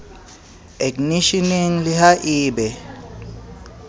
eknisheneng le ha e be